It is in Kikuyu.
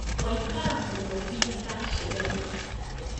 Waikara mũno nginya ndacererwo